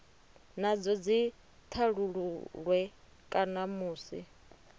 nadzo dzi thasululwe kana musi